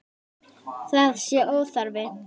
Það sé óþarfi.